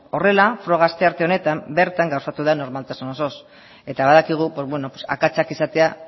horrela froga astearte honetan bertan gauzatu da normaltasun osoz eta badakigu akatsak izatea